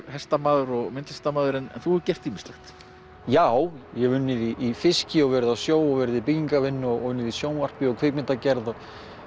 hestamaður og myndlistarmaður en þú hefur gert ýmislegt já ég hef unnið í fiski og verið á sjó og verið í byggingavinnu og unnið í sjónvarpi og kvikmyndagerð